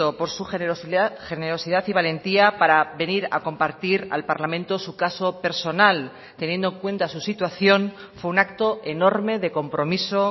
por su generosidad y valentía para venir a compartir al parlamento su caso personal teniendo en cuenta su situación fue un acto enorme de compromiso